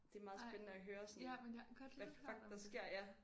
Ej ja men jeg godt lidt hørt om det